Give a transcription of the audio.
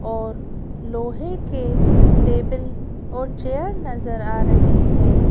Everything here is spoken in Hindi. और लोहे के टेबल और चेयर नजर आ रहे हैं।